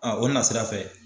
o nasirafɛ